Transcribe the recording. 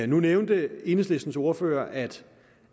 nu nævnte enhedslistens ordfører at